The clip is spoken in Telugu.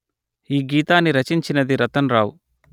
ఈ గీతాన్ని రచించినది రతన్ రావు